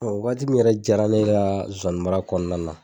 wagati min yɛrɛ diyara ne kaa nsonsani mara kɔɔna na